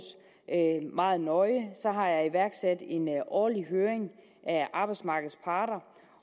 meget nøje har jeg iværksat en årlig høring af arbejdsmarkedets parter